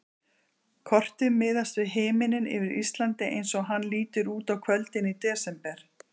Kortið miðast við himininn yfir Íslandi eins og hann lítur út á kvöldin í desember.